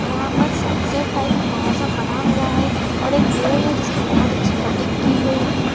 यहां पर sunset type मौसम बना हुआ है और एक पेड़ है जिसकी बहुत अच्छी कटिंग की गई है।